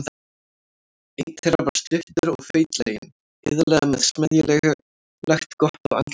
Einn þeirra var stuttur og feitlaginn, iðulega með smeðjulegt glott á andlitinu.